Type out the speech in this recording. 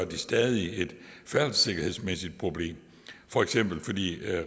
de stadig et færdselssikkerhedsmæssigt problem for eksempel fordi